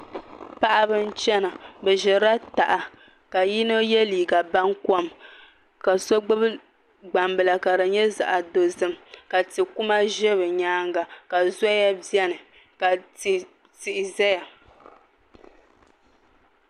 Paɣab n chɛna bi ʒirila taha ka yino yɛ liiga bankom ka so gbubi gbambila ka di nyɛ zaɣ dozim ka tikuma ʒɛ bi nyaanga ka zoya biɛni ka Tihi ʒɛya